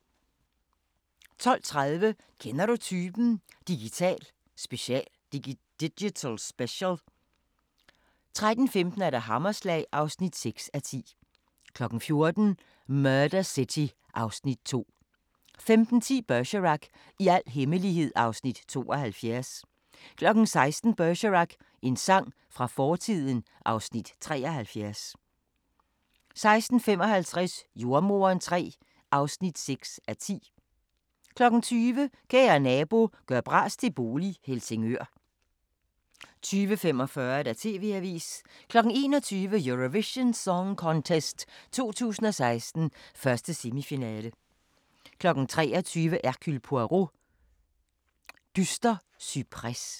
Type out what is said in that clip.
12:30: Kender du typen? – Digital special 13:15: Hammerslag (6:10) 14:00: Murder City (Afs. 2) 15:10: Bergerac: I al hemmelighed (Afs. 72) 16:00: Bergerac: En sang fra fortiden (Afs. 73) 16:55: Jordemoderen III (6:10) 20:00: Kære nabo – gør bras til bolig - Helsingør 20:45: TV-avisen 21:00: Eurovision Song Contest 2016, 1. semifinale 23:00: Hercule Poirot: Dyster cypres